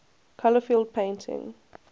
color field painting